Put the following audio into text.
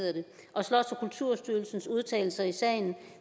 og slots og kulturstyrelsens udtalelser i sagen